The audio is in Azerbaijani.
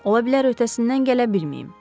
Ola bilər öhdəsindən gələ bilməyim.